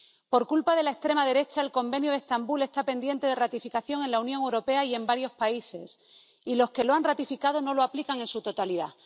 Por culpa de la extrema derecha, el Convenio de Estambul está pendiente de ratificación en la Unión Europea y en varios países, y los que lo han ratificado no lo aplican en su totalidad.